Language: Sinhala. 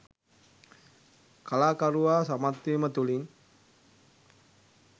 කලාකරුවා සමත්වීම තුළින්